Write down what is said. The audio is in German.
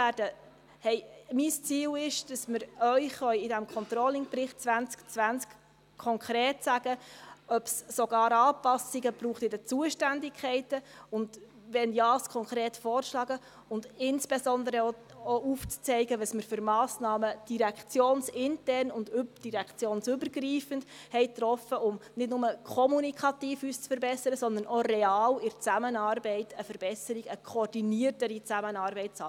Mein Ziel ist, dass wir Ihnen in diesem Controllingbericht konkret sagen, ob es sogar Anpassungen bei den Zuständigkeiten braucht, und wenn ja, solche konkret vorzuschlagen und insbesondere auch aufzuzeigen, welche Massnahmen wir direktionsintern und direktionsübergreifend getroffen haben, um uns nicht nur kommunikativ zu verbessern, sondern auch real in der Zusammenarbeit eine Verbesserung, eine koordiniertere Zusammenarbeit zu haben.